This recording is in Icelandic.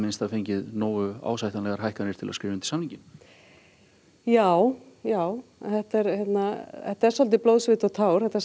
fengið nógu ásættanlegar hækkanir til að skrifa undir samninginn já já þetta er þetta er svolítið blóð sviti og tár þetta